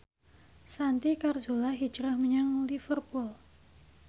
Santi Carzola hijrah menyang Liverpool